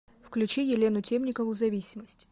включи елену темникову зависимость